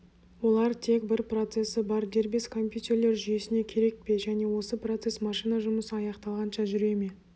олар тек бір процесі бар дербес компьютерлер жүйесіне керек пе және осы процесс машина жұмысы аяқталғанша жүре ме